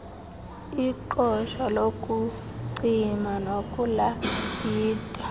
iqosha lokucima nokulayita